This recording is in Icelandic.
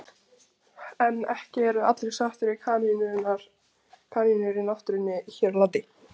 En ekki eru allir sáttir við kanínur í náttúrunni hér á landi.